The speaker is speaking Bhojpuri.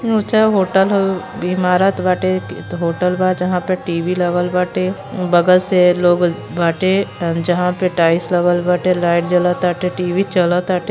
ऊँचा होटल ह। बीमारत बाटे कित होटल बा जहाँ पे टी.वी. लगल बाटे। बगल से लोग बाटे अ जहाँ टाइल्स लगल बाटे। लाइट जलताटे। टी.वी. चलताटे।